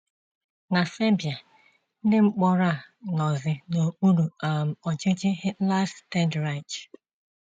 Na Serbia, ndị mkpọrọ a nọzi n'okpuru um ọchịchị Hitler’s Third Reich.